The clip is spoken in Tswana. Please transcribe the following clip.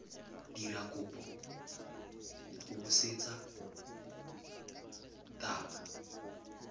dira kopo go botseta ba